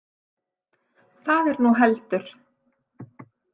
Það er nú heldur.